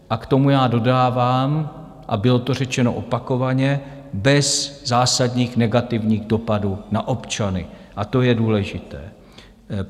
A k tomu já dodávám, a bylo to řečeno opakovaně: bez zásadních negativních dopadů na občany, a to je důležité.